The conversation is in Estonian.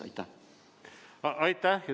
Aitäh!